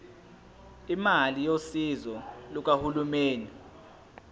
imali yosizo lukahulumeni